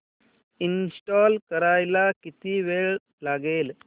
install करायला किती वेळ लागेल